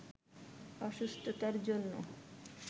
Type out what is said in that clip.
অসুস্থতার জন্য